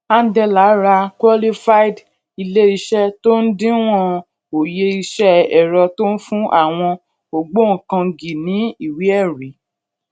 andela ra qualified iléiṣẹ tó ń díwọn òye iṣẹ ẹrọ tó ń fún àwọn ògbóǹkangí ní ìwé ẹrí